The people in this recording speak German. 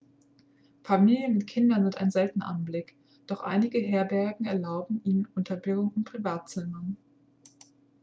familien mit kindern sind ein seltener anblick doch einige herbergen erlauben ihre unterbringung in privatzimmern